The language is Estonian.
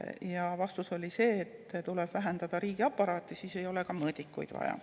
Ja vastus oli see, et tuleb vähendada riigiaparaati, siis ei ole ka mõõdikuid vaja.